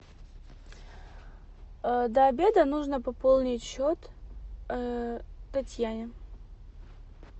до обеда нужно пополнить счет татьяне